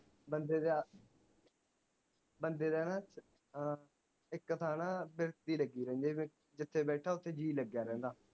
ਬੰਦੇ ਦਾ ਬੰਦੇ ਦਾ ਨਾ ਅਹ ਇਕ ਥਾਂ ਨਾ ਬਿਰਤੀ ਲਗੀ ਰਹਿੰਦੀ ਜਿਥੇ ਬੈਠਾ ਓਥੇ ਜੀ ਲਗਾ ਰਹਿੰਦਾ